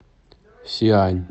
сиань